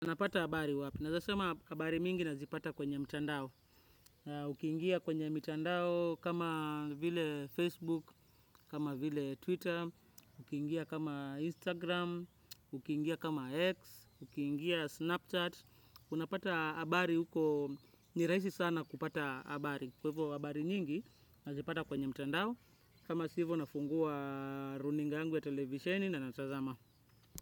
Unapata habari wapi. Naweza sema habari mingi nazipata kwenye mtandao. Ukiingia kwenye mitandao kama vile Facebook, kama vile Twitter, ukiingia kama Instagram, ukiingia kama X, ukiingia Snapchat. Unapata habari huko ni rahisi sana kupata habari. Kwa hivyo habari nyingi nazipata kwenye mtandao. Kama si hivo nafungua runinga yangu ya televisheni na natazama.